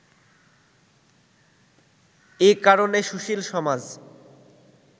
এ কারণে সুশীল সমাজ